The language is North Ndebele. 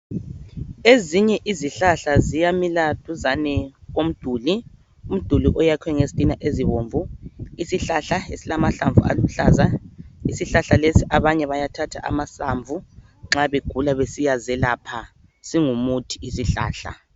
Ezinye izihlahla ziyamila duzane komduli, umduli oyakwe ngezitina ezibomvu isihlahla esilamahlamvu aluhlaza isihlahla lesi abanye bayathatha amahlamvu nxa begula bezelapha singumuthi lesi sihlahla